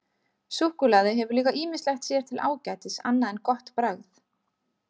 Súkkulaði hefur líka ýmislegt sér til ágætis annað en gott bragð.